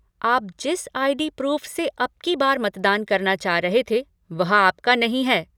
आप जिस ID. Proof से अब की बार मतदान करना चाह रहे थे, वह आपका नहीं है।